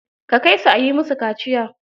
Ka kai su a yi musu kaciya.